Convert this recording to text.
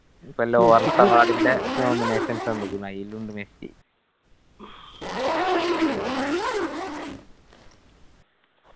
ഇപ്പൊ ന്റെ nominations ആ ആയിലു ഇണ്ട് മെസ്സി